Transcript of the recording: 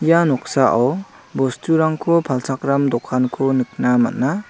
ia noksao bosturangko palchakram dokanko nikna man·a.